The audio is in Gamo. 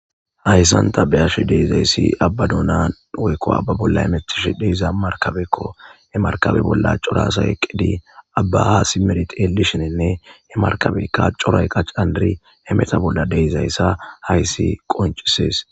hayssanta beyhashi deizayssi abbaduna woykko abba bolla emecthishi deyiza markabekko he markabe bolla corasa eqqidi abbaha si merit elishinenne he markabeykka coray qa candiri he meta bolla deizayssa hayssi qoncisees